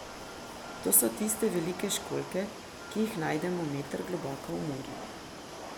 To so tiste velike školjke, ki jih najdemo meter globoko v morju.